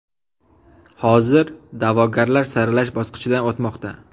Hozir da’vogarlar saralash bosqichidan o‘tmoqda.